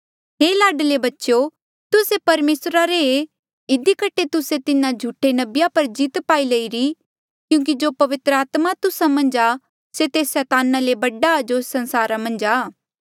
हे लाडले बच्चेयो तुस्से परमेसरा रे ऐें इधी कठे तुस्से तिन्हा झूठे नबिया पर जीत पाई लईरी क्यूंकि जो पवित्र आत्मा तुस्सा मन्झ आ से तेस सैताना ले बडा आ जो एस संसारा मन्झ आ